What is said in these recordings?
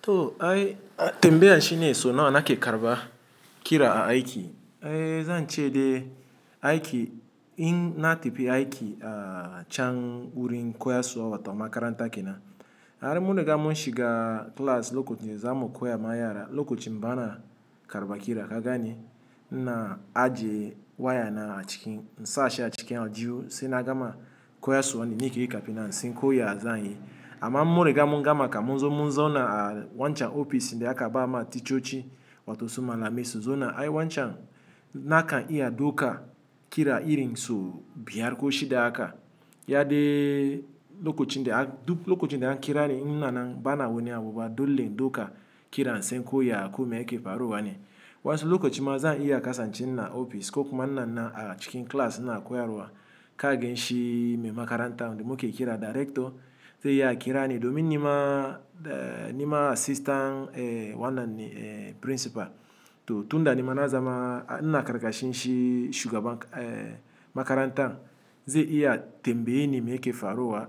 To, ai, tembaya shi ne so nawa nake karba kira a aiki. Eh, zan ce de aiki in na tefi aiki a chan wurin koyas wa to makaranta ke na. Hari muniga mun shiga class lokacin da zamu koya ma yara, lokacin bana karba kira. Ka gane ina aji waya na a cikin, in sashi a cikin aljihu sai na gama koyas nike kafina, insinko ya zanyi. Amma in munriga mungama ka munzo munzauna a wancan ofis, inda aka ba ma ticoci wata su malemai su. Zauna ay wancan nakan iya dauka kira irin so biyar ko shida haka. Ya de lokacin da aka, duk lokacin da an kira ni ina na bana wani abu ba dole duka kira in san koya ko yake faruwa ne. Wansu lokacin ma zan iya kasance ina opis ko kuma inanan a cikin class inakoyaruwa. Ka gen shi me makaranta da muke kira director ze iya kira ni domin nima, eh, nima assistant, eh, wannan ne, eh, principal. To, tunda nima na zama ina karka shinshi shuga ban, eh, makaranta ze iya tembe yeni meke faruwa.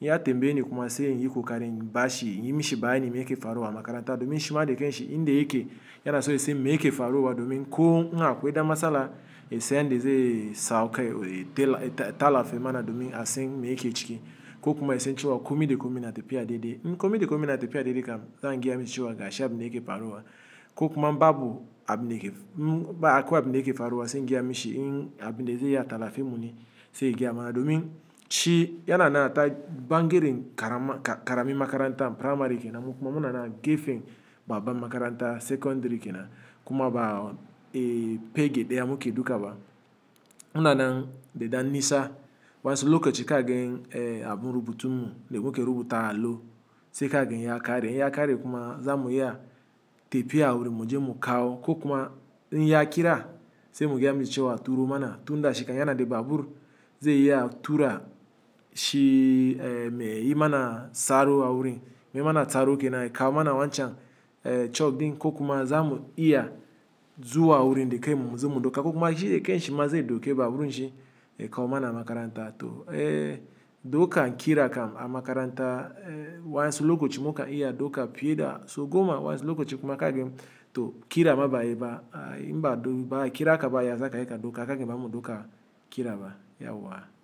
Iya tembe yin kuma sai yiko karen bashi. Yinshi bani meke faruwa makaranta domin shima de kenshi inde yake yana so ise meke faruwa domin ko in 'akweda matsala isen de ze saukai, eh, tela, ta-ta lafi ma na domin asen meke ciki ko kuma isen cewa komi de komi na tepiya daidai. In 'komi de komi na tepiya daidai kam zan giya mi cewa gashi abu da yake faruwa ko kuma babu ab ne yake, ba akwai ab ne yake faruwa sai giya mi shi in ab ne de ze ya tala fimun shi sai giya ma domin shi yana na ta bangiren karama, ka-karami makaranta primary ke na kuma muna na gefen babban makaranta secondary ke na kuma ba, eh, pegede ya muke dukaba. Muna na deda nisa wasu lokaci ka gen, eh, abun rubutu le muke rubuta alo sai ka gen iya kare. Iya kare kuma zamu iya tepiya wurin muje mukawo ko kuma in ya kira sai mu giya mi cewa turu ma na tunda shi kan yana de babur ze iya tura shi, eh, me yi ma na tsaro awurin me ma na tsaro ke na ya kawo ma na wancan, eh, chof din ko kuma zamu iya zuwa wurin de kan mu mu zo mu dauka ko kuma shi de kenshi ma ze duke baburin shi ya kawo ma na makaranta. To, eh, dukan kira kam a makaranta, eh, wasu lokaci muka iya duka pie da sogo ma wasu lokaci kuma ka gen to kira ma ba a yi ba. Aye, in ba do ba kira ka ba ya zaka iya ka duka, ka gen bamu duka kira ba, yauwa.